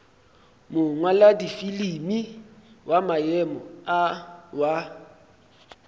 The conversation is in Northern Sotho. mongwaladifilimi wa maemo a wa